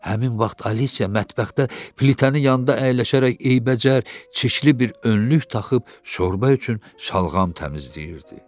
Həmin vaxt Alisiya mətbəxdə plitənin yanında əyləşərək eybəcər çirkli bir önlük taxıb şorba üçün şalğam təmizləyirdi.